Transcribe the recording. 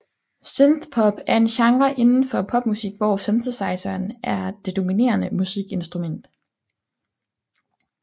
Synthpop er en genre inden for popmusik hvor synthesizeren er det dominerende musikinstrument